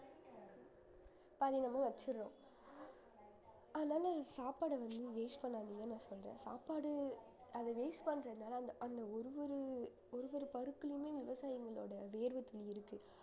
பாதி நம்ம வச்சிடுறோம் அதனால சாப்பாடை வந்து waste பண்ணாதீங்கன்னு நான் சொல்றேன் சாப்பாடு அதை waste பண்றதுனால அந்த அந்த ஒரு ஒரு ஒரு ஒரு பருப்புலயுமே விவசாயங்களோட வேர்வைத் துளி இருக்கு